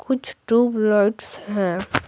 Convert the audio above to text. कुछ ट्यूबलाइट्स है।